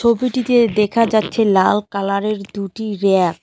ছবিটিতে দেখা যাচ্ছে লাল কালারের দুটি ব়্যাক ।